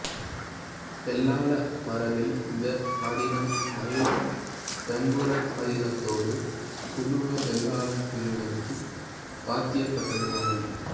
வேளாள மரபில் இந்த அதீனம் மயிலம் பொம்மபுர ஆதீனத்தோடு துளுவ வேளாளர் பிரிவினர்க்கு பாத்தியப்பட்டது ஆகும்